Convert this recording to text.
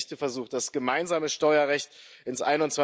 Der berechtigte Versuch, das gemeinsame Steuerrecht ins